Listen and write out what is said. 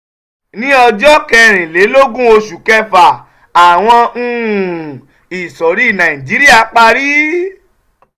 ní ọjọ́ kẹrìnlélógún oṣù kẹfà àwọn um ìsọ̀rí nàìjíríà parí